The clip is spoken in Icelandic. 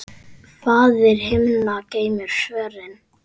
Faðir himna geymir svörin.